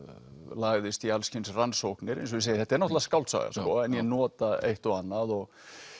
lagðist í alls kyns rannsóknir eins og ég segi þetta er náttúrulega skáldsaga en ég nota eitt og annað og